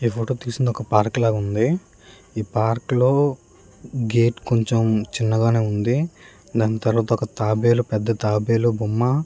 ఈ ఫోటో తీసింది ఒక పార్క్ లాగుంది ఈ పార్క్ లో గేట్ కొంచెం చిన్నగానే వుంది దాని తర్వాత తాబేలు ఒక పెద్ద తాబేలు బొమ్మ --